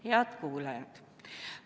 Head kuulajad!